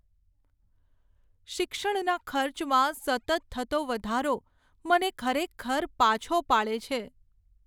શિક્ષણના ખર્ચમાં સતત થતો વધારો, મને ખરેખર પાછો પાડે છે.